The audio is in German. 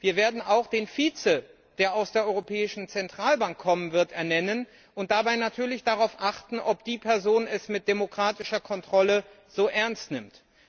Wir werden auch den Vize ernennen, der aus der Europäischen Zentralbank kommen wird, und dabei natürlich darauf achten, ob die Person es mit demokratischer Kontrolle ernst nimmt.